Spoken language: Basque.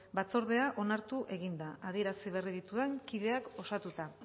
batzordea onartu egin da adierazi berri ditudan kideak osatuta